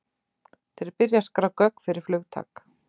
Þeir byrja að skrá gögn fyrir flugtak.